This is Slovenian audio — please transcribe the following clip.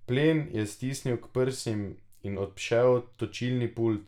Plen je stisnil k prsim in obšel točilni pult.